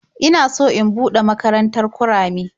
Ina so in buɗe makarantar kurame.